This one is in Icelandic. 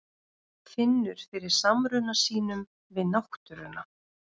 Finnur fyrir samruna sínum við náttúruna.